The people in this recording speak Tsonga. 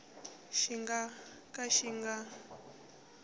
xi nga ka xi nga